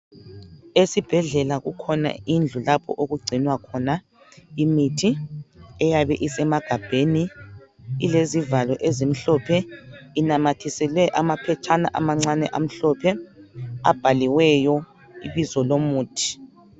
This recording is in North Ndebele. Esibhedlela kukhona indlu lapho okugcinwa khona imithi eyabe isemagabheni ilezivalo ezimhlophe inamathisele amaphetshana amancane amhlophe abhaliweyo ibizo lomuthi.